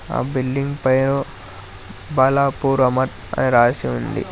ఆ బిల్డింగ్ పైన బాలాపూర్ అమర్ అని రాసి ఉంది.